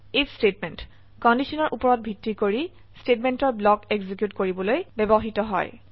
if statement কন্ডিশনৰ উপৰত ভিত্তি কৰি স্টেটমেন্টৰ ব্লক এক্সিকিউট কৰিবলৈ ব্যবহৃত হয়